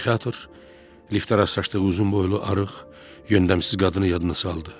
Psixiatr liftə rastlaşdığı uzun boylu, arıq, yöndəmsiz qadını yadına saldı.